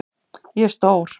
Ég er stór.